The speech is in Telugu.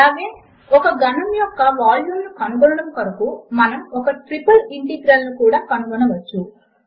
అలాగే ఒక ఘనము యొక్క వాల్యూమ్ ను కనుగొనడము కొరకు మనము ఒక ట్రిపుల్ ఇంటిగ్రల్ ను కూడా కనుగొనవచ్చు